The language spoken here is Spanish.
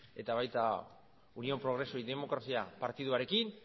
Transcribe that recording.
eta baita unión progreso y democracia partiduarekin